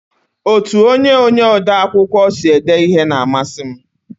Otu onye onye ode akwụkwọ sị ede ihe n'amasi m